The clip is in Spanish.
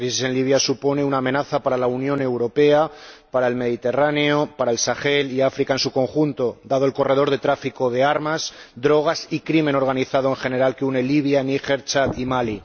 La crisis en Libia supone una amenaza para la Unión Europea, para el Mediterráneo, para el Sahel y para África en su conjunto, dado el corredor de tráfico de armas, drogas y crimen organizado, en general, que une Libia, Níger, Chad y Mali.